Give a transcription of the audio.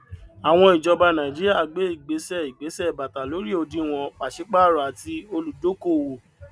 àwọn ìjọba nàìjíríà gbé ìgbésẹ ìgbésẹ bàtà lórí òdìwọn pàṣípàrọ àti olùdókòwò